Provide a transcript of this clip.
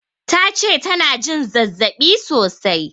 Tace tana jin zazzaɓi sosai